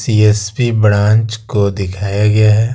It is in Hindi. सी_एस_पी ब्रांच को दिखाया गया है।